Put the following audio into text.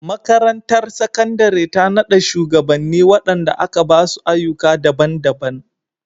Makarantar Sakandare ta nada shugabanni wadanda aka ba su ayyuka daban-daban.